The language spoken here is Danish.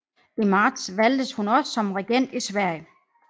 I marts valgtes hun også som regent i Sverige